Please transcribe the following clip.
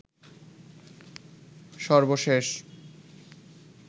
সর্বশেষ